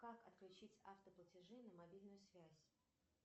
как отключить автоплатежи на мобильную связь